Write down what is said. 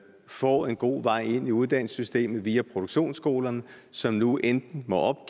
får en god vej ind i uddannelsessystemet via produktionsskolerne som nu enten må